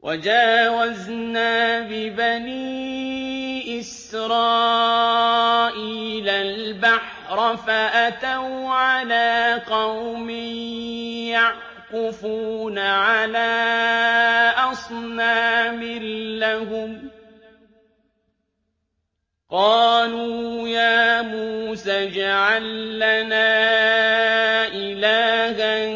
وَجَاوَزْنَا بِبَنِي إِسْرَائِيلَ الْبَحْرَ فَأَتَوْا عَلَىٰ قَوْمٍ يَعْكُفُونَ عَلَىٰ أَصْنَامٍ لَّهُمْ ۚ قَالُوا يَا مُوسَى اجْعَل لَّنَا إِلَٰهًا